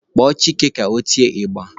Kpọọ Chike ka o tie ịgba!